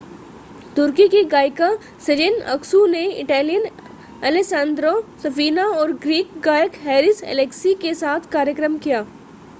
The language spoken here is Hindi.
तुर्की की गायिका सेजेन अक्सू ने इटालियन एलेसांद्रो सफीना और ग्रीक गायक हैरिस एलेक्सी के साथ कार्यक्रम किया